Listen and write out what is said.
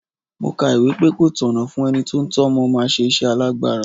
Mo ka ìwé pé ko tọ̀nà fún ẹni tí ó ń tọ́ ọmọ máa ṣe iṣẹ́ alágbára.